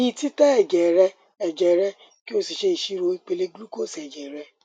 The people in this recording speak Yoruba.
gbi titẹ ẹjẹ rẹ ẹjẹ rẹ ki o si ṣe iṣiro ipele glucose ẹjẹ rẹ